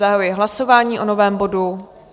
Zahajuji hlasování o novém bodu.